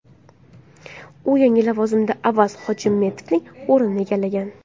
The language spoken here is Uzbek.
U yangi lavozimda Avaz Hojimetovning o‘rnini egallagan.